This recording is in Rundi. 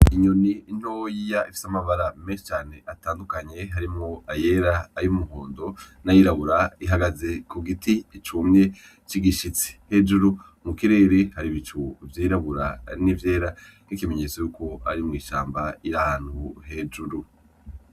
Inyoni ntoya ifise amabara menshi cane atandukanye harimwo ayera, ay'umuhondo, n'ayirabura, ihagaze ku giti cumye c'igishitsi, hejuru mu kirere hari ibicu vyirabura n'ivyera nk'ikimenyetso yuko ari mw'ishamba, iri ahantu hejuru.